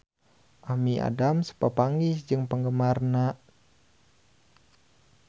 Amy Adams papanggih jeung penggemarna